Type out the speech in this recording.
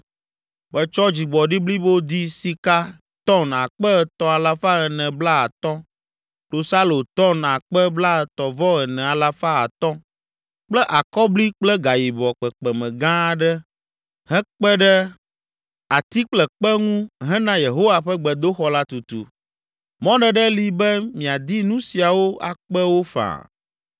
“Metsɔ dzigbɔɖi blibo di sika ‘tɔn’ akpe etɔ̃ alafa ene blaatɔ̃ (3,450), klosalo ‘tɔn’ akpe blaetɔ̃-vɔ-ene alafa atɔ̃ (34,500) kple akɔbli kple gayibɔ kpekpeme gã aɖe hekpe ɖe ati kple kpe ŋu hena Yehowa ƒe gbedoxɔ la tutu; mɔɖeɖe li be miadi nu siawo akpe wo faa.